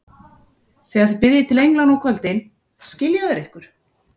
Þegar þið biðjið til englanna á kvöldin, skilja þeir ykkur.